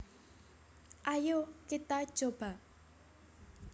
Ayo Kita Coba